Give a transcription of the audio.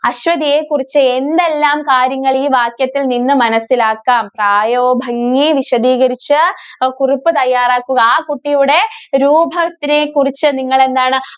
അശ്വതിയെ കുറിച്ച് എന്തെല്ലാം കാര്യങ്ങള്‍ ഈ വാക്യത്തില്‍ നിന്ന് മനസ്സിലാക്കാം. പ്രായോഭംഗി വിശദീകരിച്ച് അഹ് കുറിപ്പ് തയ്യാറാക്കുക. ആ കുട്ടിയുടെ രൂപത്തിനെ കുറിച്ച് നിങ്ങളെന്താണ്‌